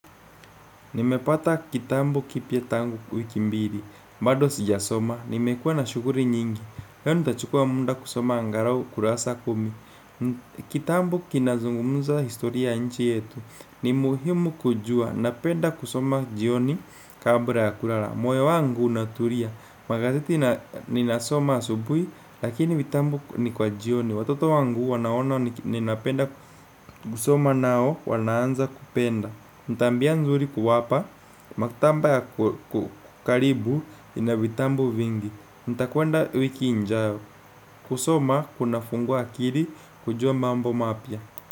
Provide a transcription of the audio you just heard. Nimepata kitabu kipya tangu wiki mbili, bado sijasoma, nimekuwa na shughuli nyingi, leo nitachukua muda kusoma angalau kurasa kumi. Kitabu kinazungumuza historia ya nchi yetu, ni muhimu kujua, napenda kusoma jioni kabla ya kulala. Moyo wangu unatulia, magazeti ninasoma asubuhi, lakini vitabu ni kwa jioni, watoto wangu wanaona ni napenda kusoma nao wanaanza kupenda. Ni tabia nzuri kuwapa, maktaba ya karibu ina vitabu vingi, nitakwenda wiki ijayo, kusoma kuna fungua akili kujua mambo mapya.